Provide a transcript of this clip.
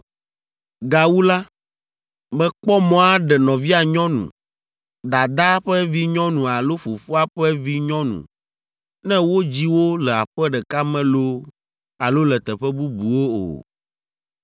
“ ‘Gawu la, mekpɔ mɔ aɖe nɔvia nyɔnu, dadaa ƒe vinyɔnu alo fofoa ƒe vinyɔnu ne wodzi wo le aƒe ɖeka me loo alo le teƒe bubuwo o.